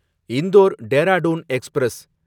Indore Dehradun express